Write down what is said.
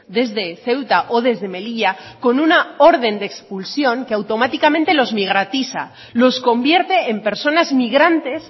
desde ceuta o desde melilla con una orden de expulsión que automáticamente los migratiza los convierte en personas inmigrantes